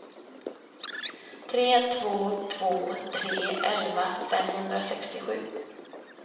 tre två två tre elva femhundrasextiosju